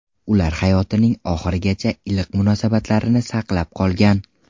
Ular hayotining oxirigacha iliq munosabatlarini saqlab qolgan.